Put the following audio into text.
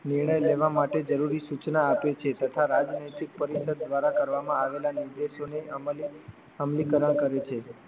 નિર્ણય લેવા માટે જરૂરી સુચના આપે છે તથા રાજનૈતિક પરિષદ દ્વારા કરવામાં આવેલા નિર્દેશોને અમલી અમલીકરણ કરે છે